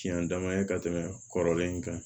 Tiɲɛ dama ye ka tɛmɛ kɔrɔlen in kan